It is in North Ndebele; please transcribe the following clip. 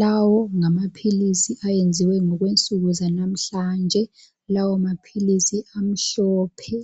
Lawo ngamaphilisi ayenziwe ngokwensuku zanamhlanje. Lawo maphilisi amhlophe